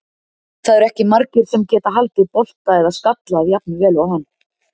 Það eru ekki margir sem geta haldið bolta eða skallað jafn vel og hann.